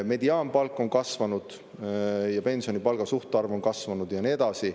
Mediaanpalk on kasvanud ja pensioni, palga suhtarv on kasvanud ja nii edasi.